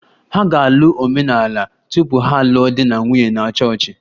Ha ga-alụ omenala tupu ha alụọ di na nwunye na chọọchị